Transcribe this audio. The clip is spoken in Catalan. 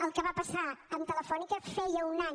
el que va passar amb telefónica feia un any